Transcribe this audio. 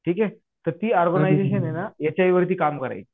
ठीक आहे तर इ ऑर्गनायजेशन आहे ना एच आय व्ही वरती काम करायची.